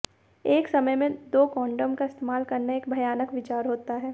एक समय में दो कंडोम का इस्तेमाल करना एक भयानक विचार होता है